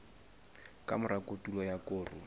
ka mora kotulo ya koro